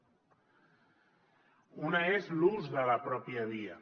una és l’ús de la pròpia via